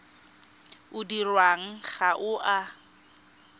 o dirwang ga o a